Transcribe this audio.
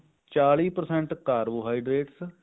ਚਾਲੀ percent carbohydrate